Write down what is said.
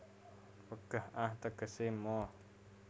Wegah ah tegese moh